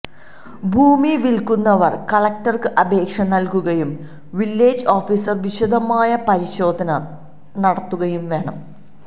ഭൂമി വില്ക്കുന്നവര് കലക്ടർക്ക് അപേക്ഷ നല്കുകയും വില്ലേജ് ഓഫിസർ വിശദമായ പരിശോധന നടത്തുകയും വേണം